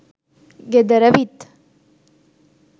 ගෙදර විත්